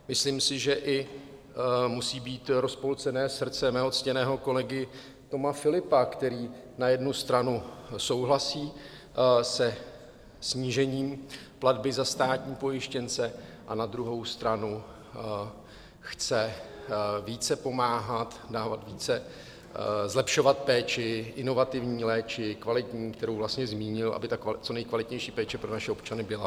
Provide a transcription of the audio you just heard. Myslím si, že i musí být rozpolcené srdce mého ctěného kolegy Toma Philippa, který na jednu stranu souhlasí se snížením platby za státní pojištěnce a na druhou stranu chce více pomáhat, dávat více, zlepšovat péči, inovativní péči, kvalitní, kterou vlastně zmínil, aby ta co nejkvalitnější péče pro naše občany byla.